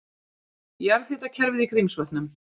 Jarðhitakerfið í Grímsvötnum.